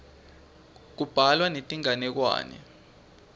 kubhalwa netinganekwane